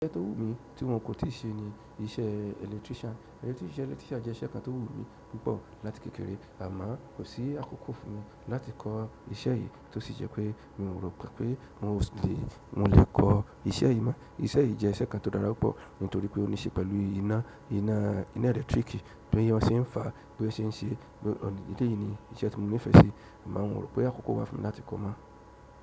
Iṣẹ́ tó wù mí tí wọn kò tí ì ṣe ni iṣẹ́ electrician. Ẹni tí ṣe electrician jẹ́ iṣẹ́ kan tó wù mí púpọ̀ láti kékeré àmo kò sí àkókò fún mi láti kọ iṣẹ́ yìí tó sì jẹ́ pé mi o rò pé mo lè kọ iṣẹ́ yìí mọ́. Iṣẹ́ yìí je iṣẹ́ kan to dára púpọ̀ nítorí pe o nise pẹ̀lú ina. Ina electric. Bi won se n fa, bi won se n se eleyii ni iṣẹ́ tí mo nífẹ̀ẹ́ sí àmo mo rò pé àkókò wà fún mi láti kọ mọ́.